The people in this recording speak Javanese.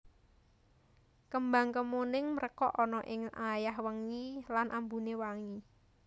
Kembang kemuning mrekok ana ing wayah wengi lan ambuné wangi